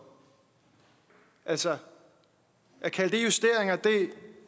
altså at kalde det justeringer